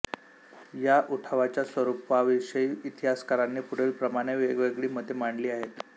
या उठावाच्या स्वरूपाविषयी इतिहासकारांनी पुढीलप्रमाणे वेगवेगळी मते मांडली आहेत